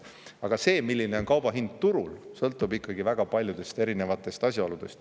Aga see, milline on kauba hind turul, sõltub ikkagi väga paljudest erinevatest asjaoludest.